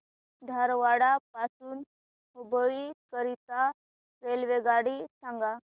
धारवाड पासून हुबळी करीता रेल्वेगाडी सांगा